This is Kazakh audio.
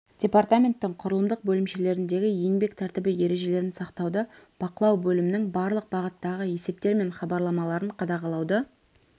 департаменттің құрылымдық бөлімшелеріндегі еңбек тәртібі ережелерін сақтауды бақылау бөлімнің барлық бағыттағы есептері мен хабарламаларын қадағалауды